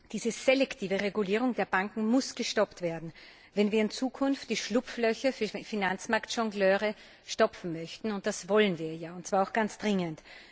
Diese selektive Regulierung der Banken muss gestoppt werden, wenn wir in Zukunft die Schlupflöcher für Finanzmarktjongleure stopfen möchten, und das wollen wir ja, und zwar ganz dringend.